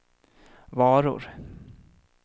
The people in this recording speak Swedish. varor